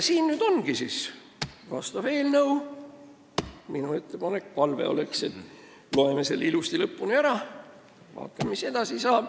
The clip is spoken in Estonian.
Siin ongi nüüd vastav eelnõu ning minu ettepanek ja palve on, et loeme selle ilusti lõpuni ära ja vaatame, mis edasi saab.